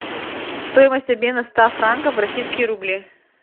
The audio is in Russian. стоимость обмена ста франков в российские рубли